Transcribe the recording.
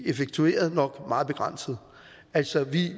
effektueret nok meget begrænsede altså vi